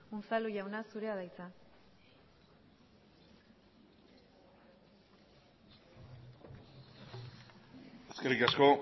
unzalu jauna zurea da hitza eskerrik asko